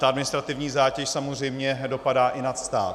Ta administrativní zátěž samozřejmě dopadá i na stát.